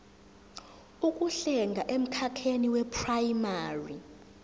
zokuhlenga emkhakheni weprayimari